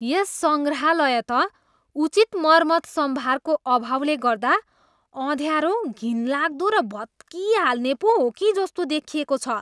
यस सङ्ग्रहालय त उचित मर्मतसम्भारको अभावले गर्दा अँध्यारो, घिनलाग्दो र भत्किहाल्ने पो हो कि जस्तो देखिएको छ।